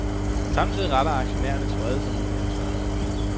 Samtidig retter aktionærernes vrede sig mod de ansvarlige.